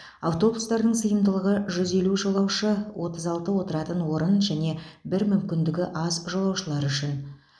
автобустардың сыйымдылығы жүз елу жолаушы отыз алты отыратын орын және бір мүмкіндігі аз жолаушылар үшін